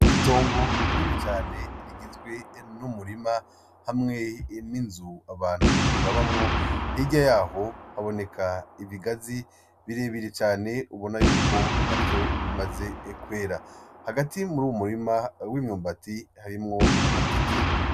Itongo rinini cane rigizwe n'umurima hamwe n'inzu abantu babamwo hirya yaho haboneka ibigazi birebire cane ubona yuko navyo bimaze kwera hagati muruwo murima w'imyumbati harimwo amateke.